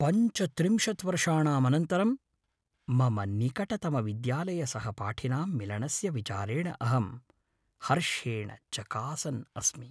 पञ्चत्रिंशत् वर्षाणां अनन्तरं मम निकटतमविद्यालयसहपाठिनां मिलनस्य विचारेण अहं हर्षेण चकासन् अस्मि।